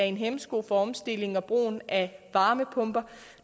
en hæmsko for omstillingen til og brugen af varmepumper